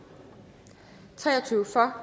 for